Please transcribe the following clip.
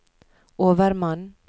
overmann